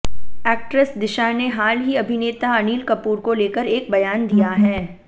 actress Disha ने हाल ही अभिनेता अनिल कपूर को लेकर एक बयान दिया है